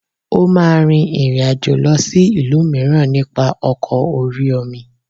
Ó máa rin ìrìn àjò lọ sí ìlú mìíràn nípa ọkọ̀ orí-omi